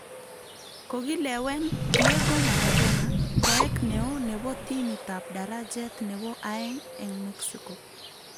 Kogilewen Diego Maradona koek neoo nebo timit ab darajet nebo aeng'eng' Mexico